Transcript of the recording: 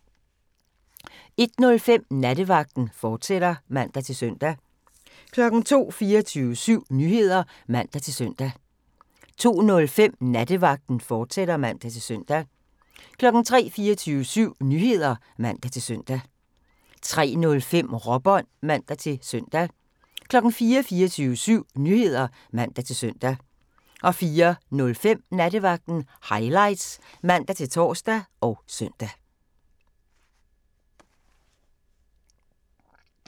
01:05: Nattevagten, fortsat (man-søn) 02:00: 24syv Nyheder (man-søn) 02:05: Nattevagten, fortsat (man-søn) 03:00: 24syv Nyheder (man-søn) 03:05: Råbånd (man-søn) 04:00: 24syv Nyheder (man-søn) 04:05: Nattevagten Highlights (man-tor og søn)